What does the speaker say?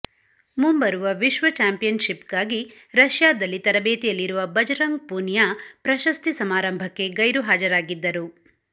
ಮುಂಬರುವ ವಿಶ್ವ ಚಾಂಪಿಯನ್ಶಿಪ್ಗಾಗಿ ರಷ್ಯಾದಲ್ಲಿ ತರಬೇತಿಯಲ್ಲಿರುವ ಬಜರಂಗ್ ಪೂನಿಯಾ ಪ್ರಶಸ್ತಿ ಸಮಾರಂಭಕ್ಕೆ ಗೈರು ಹಾಜರಾಗಿದ್ದರು